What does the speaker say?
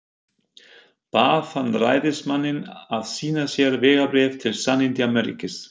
Bað hann ræðismanninn að sýna sér vegabréf til sannindamerkis.